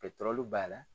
b'a la